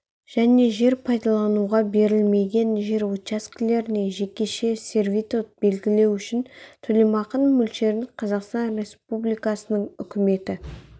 және жер пайдалануға берілмеген жер учаскелеріне жекеше сервитут белгілеу үшін төлемақының мөлшерін қазақстан республикасының үкіметі